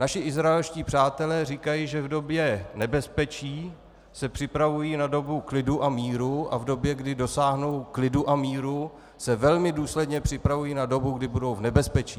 Naši izraelští přátelé říkají, že v době nebezpečí se připravují na dobu klidu a míru a v době, kdy dosáhnou klidu a míru, se velmi důsledně připravují na dobu, kdy budou v nebezpečí.